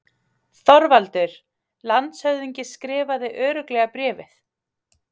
ÞORVALDUR: Landshöfðingi skrifaði örugglega bréfið?